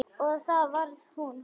Og það varð úr.